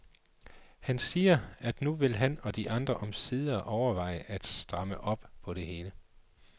Han siger, at nu vil han og de andre omsider overveje at stramme op på det hele.